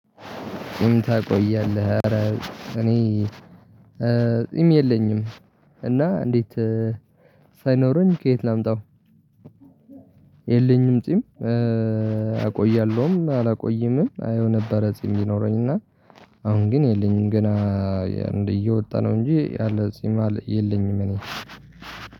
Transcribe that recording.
ጺም ታቆያለህ አረ እኔ ጺም የለኝም። እና እንዴት ሳይኖረኝ ከየት ላምጣው የለኝም ጺም አቆያለሁም አላቆይምም አየው ነበረ ጺም ቢኖረኝ እና አሁን ግን የለኝም ገና እየወጣ ነው እንጂ ያለ ጺም የለኝም እኔ።